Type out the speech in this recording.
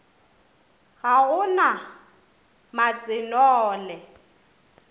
ga go na matse nole